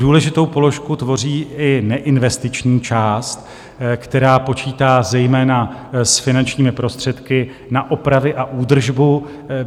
Důležitou položku tvoří i neinvestiční část, která počítá zejména s finančními prostředky na opravy a údržbu.